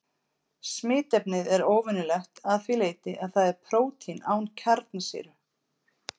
Smitefnið er óvenjulegt að því leyti að það er prótín án kjarnasýru.